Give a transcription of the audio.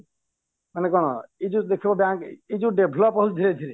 ମାନେ କଣ ଏଇ ଯୋଉ ଦେଖିବ bank ଏଇ ଯୋଉ develop ହଉଚି ଧୀରେ ଧୀରେ